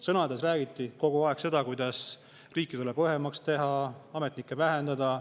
Sõnades räägiti kogu aeg seda, kuidas riiki tuleb õhemaks teha, ametnikke vähendada.